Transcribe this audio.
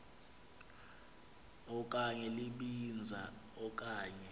okanye libinza okanye